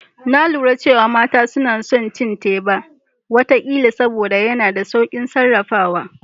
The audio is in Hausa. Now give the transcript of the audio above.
Na lura cewa mata suna son cin teba wata kila saboda yana da saukin sarrafawa